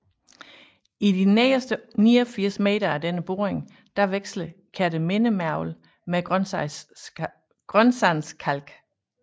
I de nederste 89 meter af denne boring veksler Kertemindemergel med Grønsandskalk